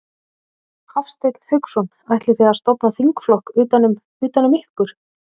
Hafsteinn Hauksson: Ætlið þið að stofna þingflokk utan um, utan um ykkur?